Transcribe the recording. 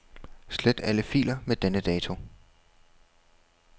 Slet alle filer med denne dato.